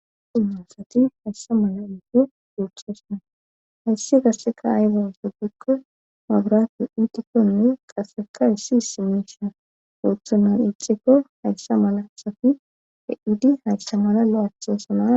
ummasati hayssa mala ufe goochasana hayssi gasseka ayzo so pikko mabraato iitikkonne qaseka issi simisha ooththunan ixikko hayssa mala safi a7idi hayssa mala lo7aaththosana